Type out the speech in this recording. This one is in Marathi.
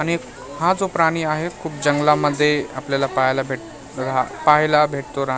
आणि एक हा जो प्राणी आहे खूप जंगलामध्ये आपल्याला पाहायला भेट पाहायला भेटतो रा --